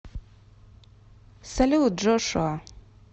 салют джошуа